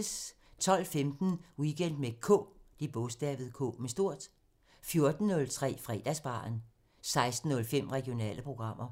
12:15: Weekend med K 14:03: Fredagsbaren 16:05: Regionale programmer